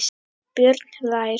Björn hlær.